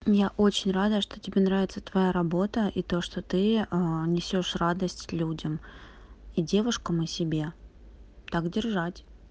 я очень рада что тебе нравится твоя работа это что ты несёшь радость людям и девушкам о себе так держать